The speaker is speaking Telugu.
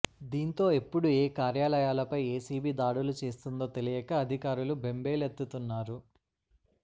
దీంతో ఎప్పుడు ఏ కార్యాలయాలపై ఏసీబీ దాడులు చేస్తుందో తెలియక అధికారులు బెంబేలెత్తుతున్నారు